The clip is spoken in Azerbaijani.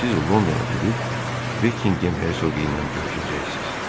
Siz Londona gedib Bekkingem Hersoqu ilə görüşəcəksiniz.